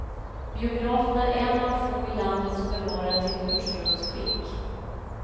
Biografen är en av få i landet som bevarat sitt ursprungsskick.